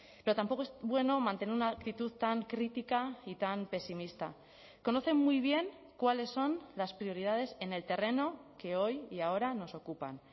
pero tampoco es bueno mantener una actitud tan crítica y tan pesimista conocen muy bien cuáles son las prioridades en el terreno que hoy y ahora nos ocupan